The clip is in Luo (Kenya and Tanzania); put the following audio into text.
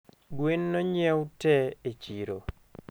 Gwen nonyiew tee e chiro